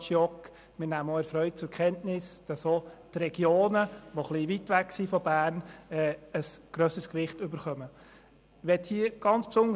Wir nehmen auch erfreut zur Kenntnis, dass die Regionen, die etwas weiter von der Stadt Bern entfernt sind, ein grösseres Gewicht erhalten.